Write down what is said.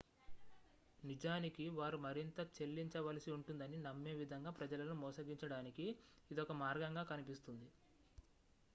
నిజానికి వారు మరింత చెల్లించవలసి ఉంటుందని నమ్మే విధంగా ప్రజలను మోసగించడానికి ఇది ఒక మార్గంగా కనిపిస్తుంది